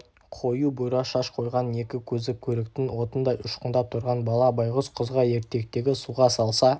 қою бұйра шаш қойған екі көзі көріктің отындай ұшқындап тұрған бала байғұс қызға ертектегі суға салса